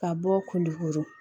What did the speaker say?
Ka bɔ kulukoro